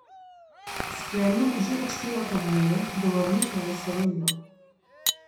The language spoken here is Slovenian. S Klemnom že odštevata dneve do vrnitve v Slovenijo.